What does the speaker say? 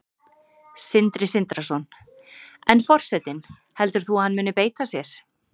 Sindri Sindrason: En forsetinn, heldur þú að hann muni beita sér?